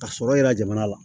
Ka sɔrɔ yira jamana la